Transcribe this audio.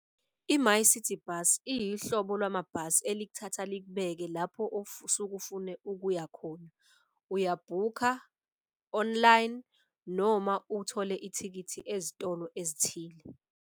I-MyCiti Bus iyihlobo lwamabhasi elikuthatha likubeke lapho osuke ufune ukuya khona. Uya-book-a online noma uthole ithikithi ezitolo ezithile.